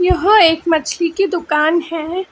यहां एक मछली कि दुकान है।